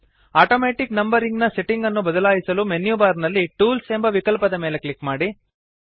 automatic numbering ನ setting ಅನ್ನು ಬದಲಾಯಿಸಲು ಮೆನ್ಯು ಬಾರ್ ನಲ್ಲಿ ಟೂಲ್ಸ್ ಎಂಬ ವಿಕಲ್ಪದ ಮೇಲೆ ಕ್ಲಿಕ್ ಮಾಡಿ